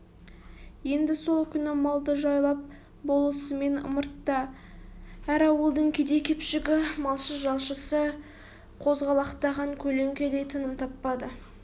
енді сол күні малды жайлап болысымен ымыртта әр ауылдың кедей-кепшігі малшы-жалшысы қозғалақтаған көлеңкедей тыным таппады